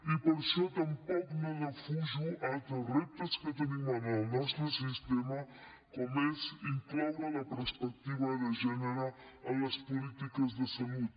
i per això tampoc no defujo altres reptes que tenim en el nostre sistema com és incloure la perspectiva de gènere en les polítiques de salut